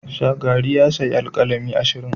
Shagari ya sayi alkalami ashirin.